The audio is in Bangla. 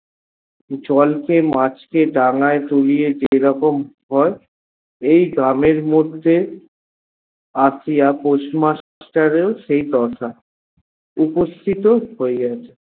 জলকে মাছকে ডাঙায় তুলিয়ে যেরকম হয়, এই গ্রামের মধ্যে আশিয়া postmaster এর সেই দশা উপস্থিত হইয়াছে।